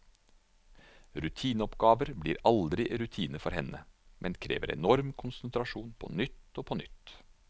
Rutineoppgaver blir aldri rutine for henne, men krever enorm konsentrasjon på nytt og på nytt.